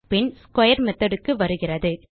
பின் square methodக்கு வருகிறது